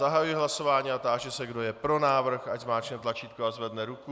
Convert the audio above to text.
Zahajuji hlasování a táži se, kdo je pro návrh, ať zmáčkne tlačítko a zvedne ruku.